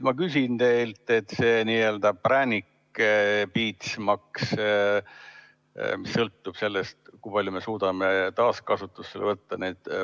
Ma küsin teilt: präänik-piits-maks sõltub sellest, kui palju me suudame plastikut taaskasutada.